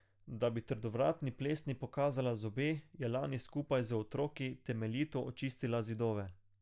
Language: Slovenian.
Da bi trdovratni plesni pokazala zobe, je lani skupaj z otroki temeljito očistila zidove.